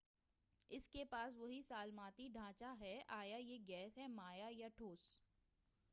اس کے پاس وہی سالماتی ڈھانچہ ہے آیا یہ گیس ہے مائع یا ٹھوس